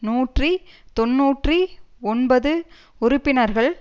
நூற்றி தொன்னூற்றி ஒன்பது உறுப்பினர்கள்